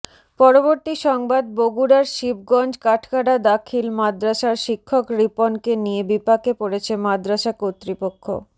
পরবর্তী সংবাদ বগুড়ার শিবগঞ্জ কাঠগাড়া দাখিল মাদ্রাসার শিক্ষক রিপনকে নিয়ে বিপাকে পরেছে মাদ্রাসা কর্তৃপক্ষ